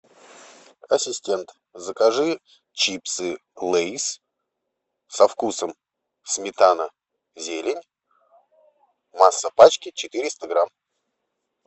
ассистент закажи чипсы лейс со вкусом сметана зелень масса пачки четыреста грамм